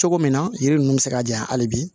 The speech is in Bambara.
Cogo min na yiri nunnu bɛ se ka janya hali bi